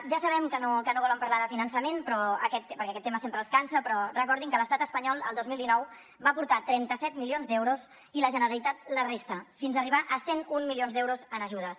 ja sabem que no volen parlar de finançament perquè aquest tema sempre els cansa però recordin que l’estat espanyol el dos mil dinou va aportar trenta set milions d’euros i la generalitat la resta fins a arribar a cent i un milions d’euros en ajudes